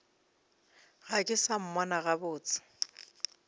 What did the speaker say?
ga ke sa mmona gabotse